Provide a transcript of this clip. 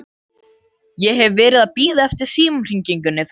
Ég hef verið að bíða eftir símhringingu frá þér.